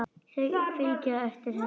Þau fylgja henni eftir.